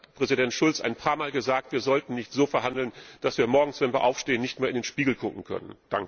Präsident Schulz hat ein paarmal gesagt Wir sollten nicht so verhandeln, dass wir morgens, wenn wir aufstehen, nicht mehr in den Spiegel sehen können!